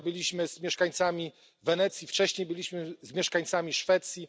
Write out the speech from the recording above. Wczoraj byliśmy z mieszkańcami Wenecji, wcześniej byliśmy z mieszkańcami Szwecji.